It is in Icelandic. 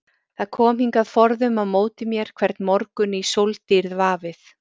Það kom hingað forðum á móti mér hvern morgun í sóldýrð vafið.